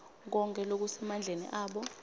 konkhe lokusemandleni abo